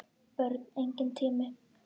Börn: Enginn tími.